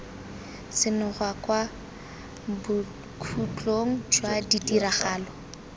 senoga kwa bokhutlong jwa ditiragalo